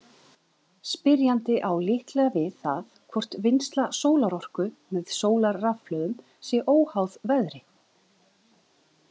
Spyrjandi á líklega við það hvort vinnsla sólarorku með sólarrafhlöðum sé óháð veðri.